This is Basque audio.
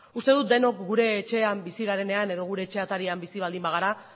uste dut denok gure etxean bizi garenean edo gure etxe atarian bizi baldin bagara